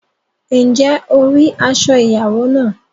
Ǹjẹ́ o rí aṣọ ìyàwó náà?